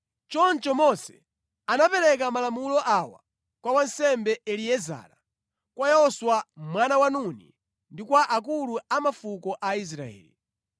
Choncho Mose anapereka malamulo awa kwa wansembe Eliezara, kwa Yoswa mwana wa Nuni ndi kwa akulu a mafuko a Aisraeli.